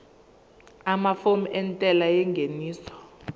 amafomu entela yengeniso